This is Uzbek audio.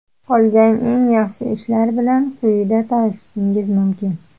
Qolgan eng yaxshi ishlar bilan quyida tanishishingiz mumkin.